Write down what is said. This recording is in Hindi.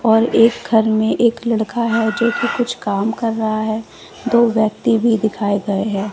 और एक घर में एक लड़का है जो कि कुछ काम कर रहा है दो व्यक्ति भी दिखाए गए हैं।